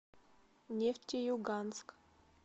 нефтеюганск